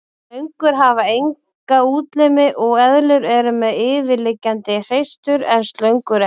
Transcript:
Slöngur hafa enga útlimi og eðlur eru með yfirliggjandi hreistur en slöngur ekki.